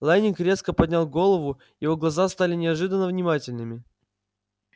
лэннинг резко поднял голову его глаза стали неожиданно внимательными